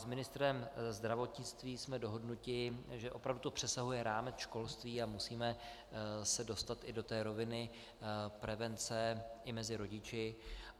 S ministrem zdravotnictví jsme dohodnuti, že opravdu to přesahuje rámec školství a musíme se dostat i do té roviny prevence i mezi rodiči.